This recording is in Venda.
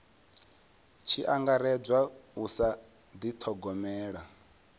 tshi angaredzwa u sa dithogomela